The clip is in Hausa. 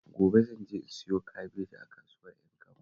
Gobe zan je in siyo kabeji a kasuwar Ƴankaba